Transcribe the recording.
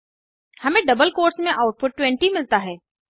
हमें double quotes में output 20 मिलता है